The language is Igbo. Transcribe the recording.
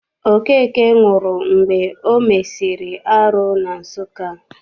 Okeke nwụrụ mgbe o mesịrị arụ na Nsụka.